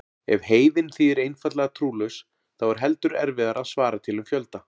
Ef heiðinn þýðir einfaldlega trúlaus þá er heldur erfiðara að svara til um fjölda.